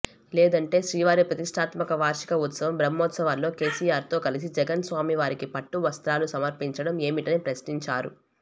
లేదంటే శ్రీవారి ప్రతిష్టాత్మక వార్షిక ఉత్సవం బ్రహ్మోత్సవాల్లో కేసీఆర్తో కలిసి జగన్ స్వామి వారికి పట్టువస్త్రాలు సమర్పించడం ఏమిటని ప్రశ్నించారు